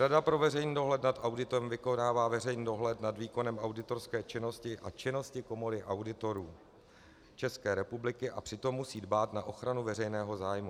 Rada pro veřejný dohled nad auditem vykonává veřejný dohled nad výkonem auditorské činnosti a činností Komory auditorů České republiky a přitom musí dbát na ochranu veřejného zájmu.